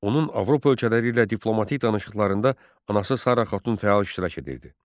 Onun Avropa ölkələri ilə diplomatik danışıqlarında anası Sara xatun fəal iştirak edirdi.